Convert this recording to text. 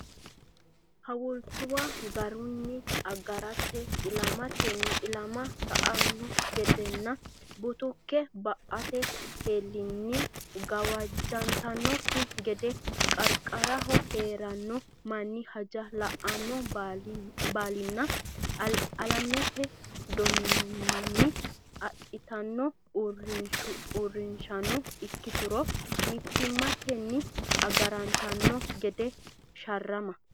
Hawultuwa garinni agarante ilamatenni ilama sa anno gedenna butuke ba ate heleellenni gawajjantannokki gede qaraqaraho hee ranno manni hajo la annonsa baalinna alamete donimmanni adhitino uurrinshano ikkituro mittimmatenni agarantanno gede sharrama.